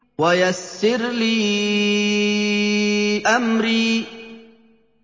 وَيَسِّرْ لِي أَمْرِي